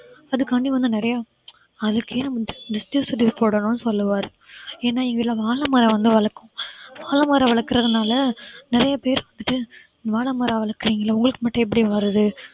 அதுக்காண்டி வந்து நிறைய அதுக்கே நான் வந்து திருஷ்டி சுத்தி போடணும்னு சொல்ல வாரேன் ஏன்னா எங்க வீட்டுல வாழை மரம் வந்து வளர்க்கிறோம் வாழைமரம் வளர்க்கறதுனால நிறைய பேர் வந்துட்டு வாழை மரம் வளர்க்கிறீங்களே உங்களுக்கு மட்டும் எப்படி வருது